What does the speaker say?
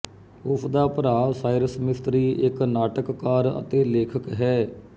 ਉਸ ਦਾ ਭਰਾ ਸਾਇਰਸ ਮਿਸਤਰੀ ਇੱਕ ਨਾਟਕਕਾਰ ਅਤੇ ਲੇਖਕ ਹੈ